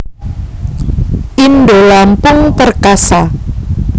Indolampung Perkasa